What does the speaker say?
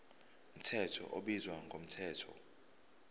mthetho ubizwa ngomthetho